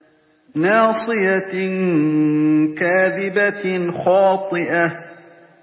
نَاصِيَةٍ كَاذِبَةٍ خَاطِئَةٍ